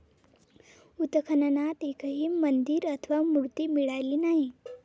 उत्खननात एकही मंदिर अथवा मूर्ती मिळाली नाही.